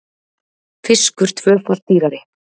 Fiskur tvöfalt dýrari